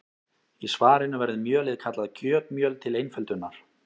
Í svarinu verður mjölið kallað kjötmjöl til einföldunar.